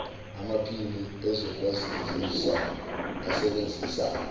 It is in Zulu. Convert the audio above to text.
amaphini ezokwazisa asebenzisa